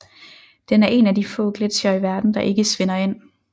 Den er en af de få gletsjere i verden der ikke svinder ind